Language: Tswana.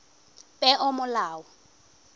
peomolao